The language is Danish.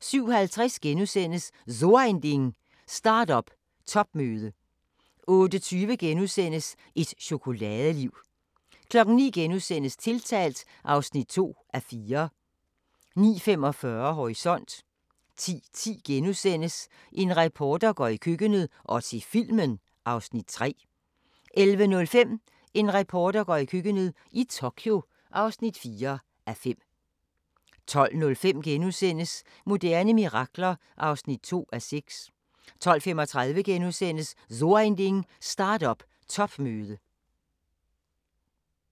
07:50: So Ein Ding: Start-up topmøde * 08:20: Et chokoladeliv * 09:00: Tiltalt (2:4)* 09:45: Horisont 10:10: En reporter går i køkkenet – og til filmen (3:5)* 11:05: En reporter går i køkkenet – i Tokyo (4:5) 12:05: Moderne mirakler (2:6)* 12:35: So Ein Ding: Start-up topmøde *